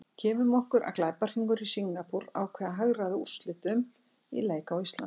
Gefum okkur að glæpahringur í Singapúr ákveði að hagræða úrslitum í leik á Íslandi.